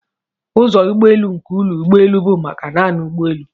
Ụzọ ụgbọelu nke ụlọ ụgbọelu bụ maka naanị ụgbọelu.